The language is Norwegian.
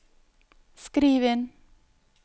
skriv inn